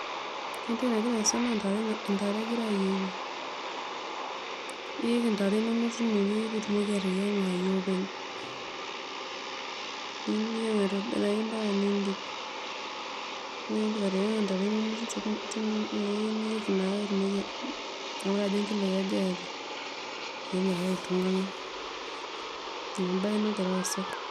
Ore entoki nagira aasa na ntare egirai ayieng, niik intare inonok tineweuji peitumoki ateyianga yieopeny, niyeng aitobiraki ambaka niindip ,ore peindip ateyianga ntare inonok Niko naa ainguraa ajo nkiloi aja iata, ina embae nagira aasa.